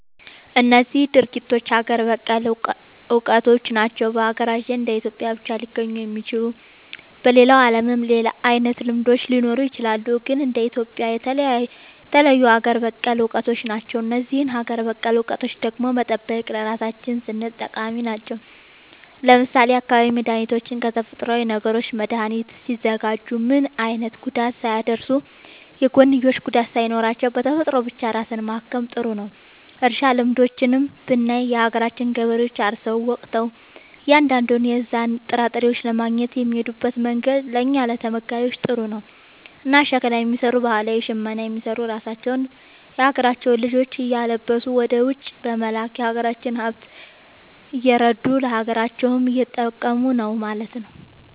እነዚህ ድርጊቶች ሀገር በቀል እውቀቶች ናቸው። በሀገራችን እንደ ኢትዮጵያ ብቻ ሊገኙ የሚችሉ። በሌላው ዓለምም ሌላ አይነት ልምዶች ሊኖሩ ይችላሉ። ግን እንደ ኢትዮጵያ የተለዩ ሀገር በቀል እውቀቶች ናቸው። እነዚህን ሀገር በቀል እውቀቶች ደግሞ መጠበቅ ለራሳችን ስንል ጠቃሚ ናቸው። ለምሳሌ የአካባቢ መድኃኒቶችን ከተፈጥሮዊ ነገሮች መድኃኒት ሲያዘጋጁ ምንም አይነት ጉዳት ሳያደርሱ፣ የጎንዮሽ ጉዳት ሳይኖራቸው፣ በተፈጥሮ ብቻ ራስን ማከም ጥሩ ነዉ። እርሻ ልምዶችንም ብናይ የሀገራችን ገበሬዎች አርሰው ወቅተው እያንዳንዱን የዛን ጥራጥሬ ለማግኘት የሚሄድበት መንገድ ለእኛ ለተመጋቢዎች ጥሩ ነው። እና ሸክላ የሚሰሩ ባህላዊ ሽመና የሚሰሩ ራሳቸውን የሀገራቸውን ልጆች እያለበሱ ወደ ውጪ በመላክ የሀገራቸውን ሃብት እያረዱ ለሀገራቸውም እየጠቀሙ ነው ማለት።